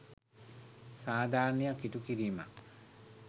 සාධරණයක් ඉ‍ටු කිරීමක්.